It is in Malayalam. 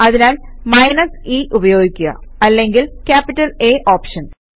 അതിനാൽ മൈനസ് e ഉപയോഗിക്കുക അല്ലെങ്കിൽ ക്യാപിറ്റല് A ഓപ്ഷൻ